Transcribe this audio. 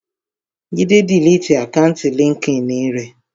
Jídé diliti àkáùntì líńki-inì rẹ̀